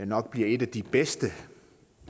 nok bliver et af de bedste